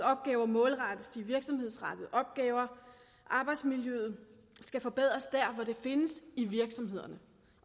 opgaver målrettes til virksomhedsrettede opgaver arbejdsmiljøet skal forbedres der hvor det findes i virksomhederne